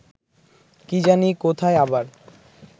কি জানি কোথায় আবার